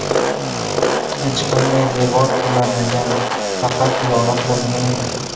Hech qanday devor qulamagan, faqat yoriq bo‘lgan edi.